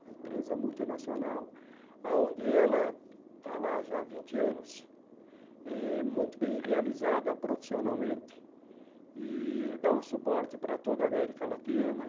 uma empresa multinacional, onde ela está lá já há vinte anos eh, muito bem realizada profissionalmente, e dá um suporte para toda a América Latina.